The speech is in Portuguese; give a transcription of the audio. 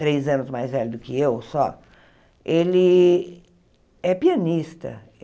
três anos mais velho do que eu só, ele é pianista.